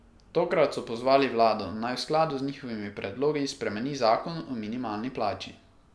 Tokrat so pozvali vlado, naj v skladu z njihovimi predlogi spremeni zakon o minimalni plači.